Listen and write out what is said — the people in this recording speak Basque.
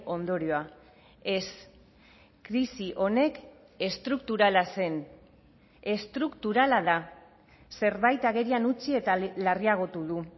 ondorioa ez krisi honek estrukturala zen estrukturala da zerbait agerian utzi eta larriagotu du